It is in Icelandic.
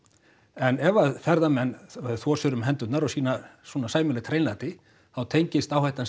en ef að ferðamenn þvo sér um hendurnar og sýna svona sæmilegt hreinlæti þá tengist áhættan